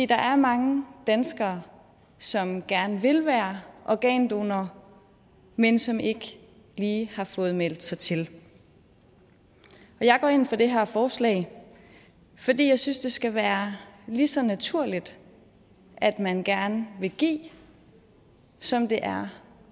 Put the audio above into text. der er mange danskere som gerne vil være organdonor men som ikke lige har fået meldt sig til jeg går ind for det her forslag fordi jeg synes det skal være lige så naturligt at man gerne vil give som det er